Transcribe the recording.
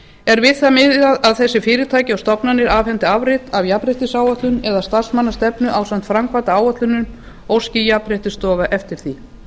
er við það miðað að þessi fyrirtæki og stofnanir afhendi afrit af jafnréttisáætlun eða starfsmannastefnu ásamt framkvæmdaáætlunum óski jafnréttisstofa eftir því